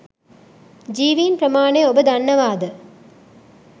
ජීවින් ප්‍රමාණය ඔබ දන්නවාද?